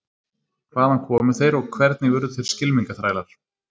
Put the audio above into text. Hvaðan komu þeir og hvernig urðu þeir skylmingaþrælar?